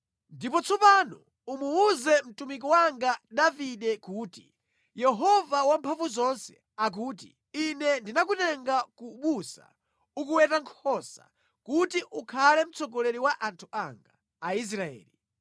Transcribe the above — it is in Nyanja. Ndipo tsopano umuwuze mtumiki wanga Davide kuti, “Yehova Wamphamvuzonse akuti, Ine ndinakutenga ku busa ukuweta nkhosa, kuti ukhale mtsogoleri wa anthu anga, Aisraeli.